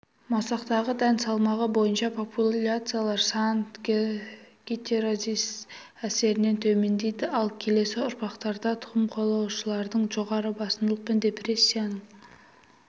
масақтағы дән салмағы бойынша популяциялар саны гетереозис әсерін төмендейді ал келесі ұрпақтарда тұқым қуалаудың жоғары басымдылық пен депрессияның